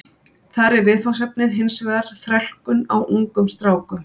Þar er viðfangsefnið hins vegar þrælkun á ungum strákum.